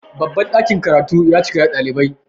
babban dakin karatu ya cika da ɗalibai